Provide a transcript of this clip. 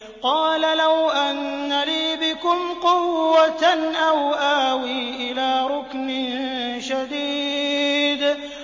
قَالَ لَوْ أَنَّ لِي بِكُمْ قُوَّةً أَوْ آوِي إِلَىٰ رُكْنٍ شَدِيدٍ